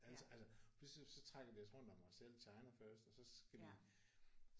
Altså altså pludselig så trækker vi os rundt om selv China first og så skal vi